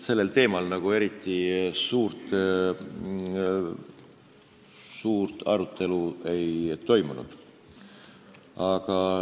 Sellel teemal eriti suurt arutelu ei toimunud.